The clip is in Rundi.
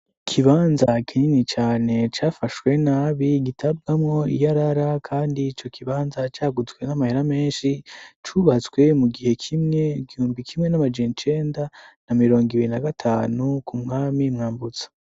Ikibanza kinini cane cafashwe nabi gitabwamwo iyarara kandi ico kibanza caguzwe n'amahera menshi cubatswe mu gihe kimwe igihumbi kimwe n'amajana icenda na mirongo ibiri na gatanu ku mwami Mwambutsa.